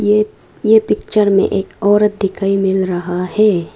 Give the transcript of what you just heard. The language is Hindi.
ये ये पिक्चर में एक औरत दिखाई मिल रहा है।